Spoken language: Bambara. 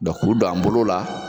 k'ulu don an bolo la.